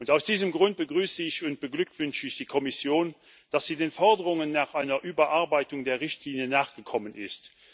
Aus diesem Grund begrüße ich und beglückwünsche ich die Kommission, dass sie den Forderungen nach einer Überarbeitung der Richtlinie nachgekommen ist.